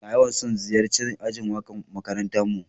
Na yawan son ziyace'n ajin waka'n makarantan mu.